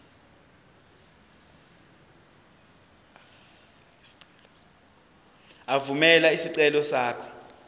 evumela isicelo sakho